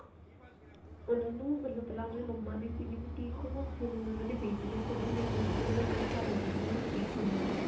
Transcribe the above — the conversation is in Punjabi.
ਪਹਿਲਾਂ ਉਹਨੂੰ ਪਹਿਲਾ ਮੰਮਾ ਦੀ ਸਿਗੀ boutique ਉਹ ਫ਼ੇਰ ਹੁਣ ਉਹਨਾ ਦੀ ਬੇਟੀ ਆ ਤੇ ਉਹਨਾ ਦੀ ਬੇਟੀ ਨੂੰ ਦੋ ਸਾਲ ਹੋਗੇ boutique ਖੋਲੀ ਨੂੰ